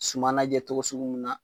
Suma najɛ togo sugu mun na